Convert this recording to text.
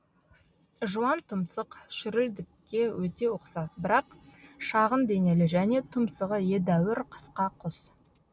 жуантұмсық шүрілдікке өте ұқсас бірақ шағын денелі және тұмсығы едәуір қысқа құс